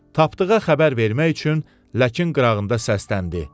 Tapdığa xəbər vermək üçün ləkin qırağında səsləndi.